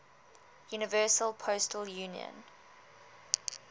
universal postal union